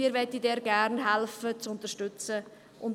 Diesen möchten wir gerne unterstützen helfen.